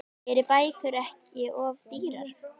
Eru bækur ekki of dýrar?